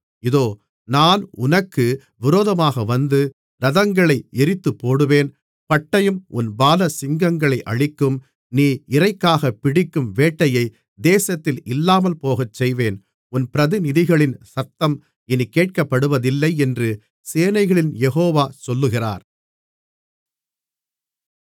இதோ நான் உனக்கு விரோதமாக வந்து இரதங்களை எரித்துப்போடுவேன் பட்டயம் உன் பாலசிங்கங்களை அழிக்கும் நீ இரைக்காகப் பிடிக்கும் வேட்டையை தேசத்தில் இல்லாமல்போகச் செய்வேன் உன் பிரதிநிதிகளின் சத்தம் இனிக் கேட்கப்படுவதில்லை என்று சேனைகளின் யெகோவா சொல்லுகிறார்